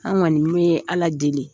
An kɔni be ala deli.